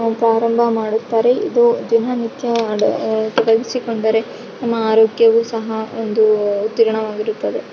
ಪ್ರಾರಂಭ ಮಾಡುತ್ತಾರೆ ಇದು ದಿನನಿತ್ಯ ತೊಡಗಿಸಿಕೊಂಡರೆ ನಮ್ಮ ಆರೊಗ್ಯವು ಸಹ್‌ ಒಂದು ಉತ್ತಿರ್ಣವಗಿರುತ್ತದೆ .